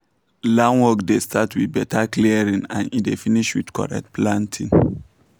land work dey start with better clearing and e dey finish with correct planting